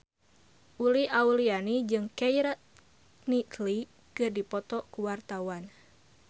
Uli Auliani jeung Keira Knightley keur dipoto ku wartawan